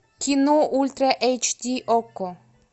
кино ультра эйч ди окко